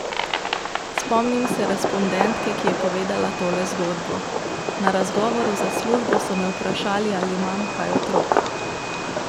Spomnim se respondentke, ki je povedala tole zgodbo: "Na razgovoru za službo so me vprašali, ali imam kaj otrok.